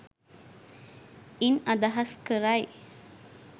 ඉන් අදහස් කරයි.